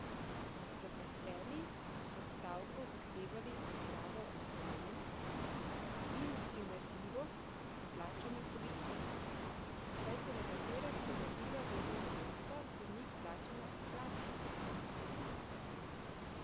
Zaposleni so s stavko zahtevali odpravo anomalij in primerljivost s plačami policistov, saj so nekatera primerljiva delovna mesta pri njih plačana slabše kot v policiji.